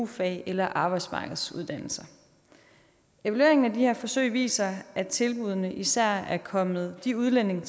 fag eller arbejdsmarkedsuddannelser evalueringen af de her forsøg viser at tilbuddene især er kommet de udlændinge